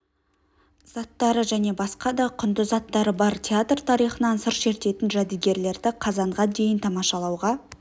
заттары және басқа да құнды заттары бар театр тарихынан сыр шертетін жәдігерлерді қазанға дейін тамашалауға